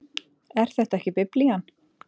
Er þetta ekki Biblían?